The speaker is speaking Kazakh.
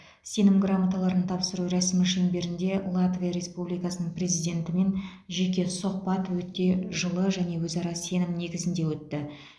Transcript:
сенім грамоталарын тапсыру рәсімі шеңберінде латвия республикасының президентімен жеке сұхбат өте жылы және өзара сенім негізінде өтті